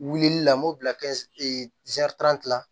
Wulili la n m'o bila la